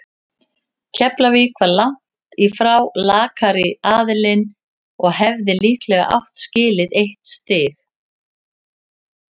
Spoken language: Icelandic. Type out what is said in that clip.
Keflavík var langt í frá lakari aðilinn og hefði líklega átt skilið eitt stig.